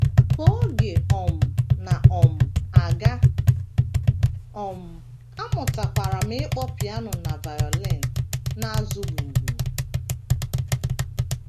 Ka oge um na um - aga, um amụtakwara m ịkpọ piano na violin na - azụ gbim gbim.